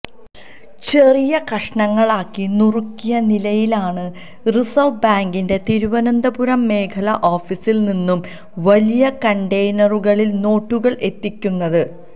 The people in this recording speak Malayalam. ചെറിയ കഷണങ്ങളാക്കി നുറുക്കിയ നിലയിലാണ് റിസർവ് ബാങ്കിന്റെ തിരുവനന്തപുരം മേഖലാ ഓഫിസിൽ നിന്നും വലിയ കണ്ടെയ്നറുകളിൽ നോട്ടുകള് എത്തിക്കുന്നത്